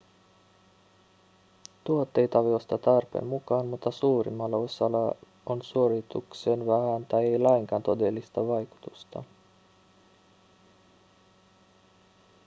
tuotteita voi ostaa tarpeen mukaan mutta suurimmalla osalla on suoritukseen vähän tai ei lainkaan todellista vaikutusta